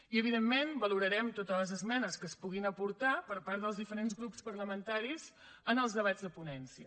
i evidentment valorarem totes les esmenes que es puguin aportar per part dels diferents grups parlamentaris en els debats de ponència